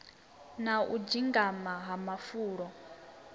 na u dzengama ha mafulo